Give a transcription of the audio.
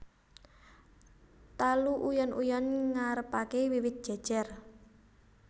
Talu uyon uyon ngarepake wiwit jejer